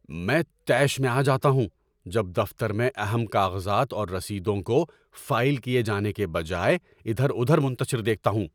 میں طیش میں آ جاتا ہوں جب دفتر میں اہم کاغذات اور رسیدوں کو فائل کیے جانے کے بجائے اِدھر اُدھر منتشر دیکھتا ہوں۔